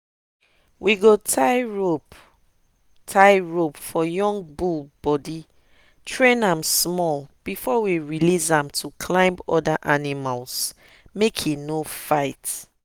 we go tie rope tie rope for young bull body train am small before we release am to climb other animals make e no fight.